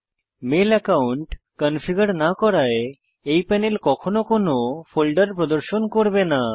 mail account configure না করায় এই প্যানেল কখনও কোনো ফোল্ডার প্রদর্শন করবে না